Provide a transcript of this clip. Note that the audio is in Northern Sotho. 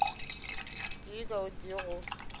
tee ka o tee go